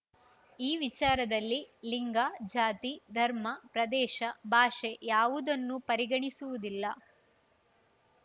ಈ ವಿಚಾರದಲ್ಲಿ ಲಿಂಗ ಜಾತಿ ಧರ್ಮ ಪ್ರದೇಶ ಭಾಷೆ ಯಾವುದನ್ನೂ ಪರಿಗಣಿಸುವುದಿಲ್ಲ